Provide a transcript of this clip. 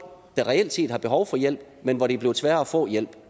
der reelt set har behov for hjælp men hvor det er blevet sværere at få hjælp